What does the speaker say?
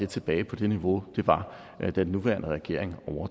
tilbage på det niveau hvor den var da den nuværende regering